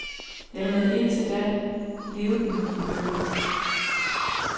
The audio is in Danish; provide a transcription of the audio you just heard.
Jeg havde indtil da levet med mine bøger.